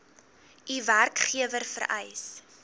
u werkgewer vereis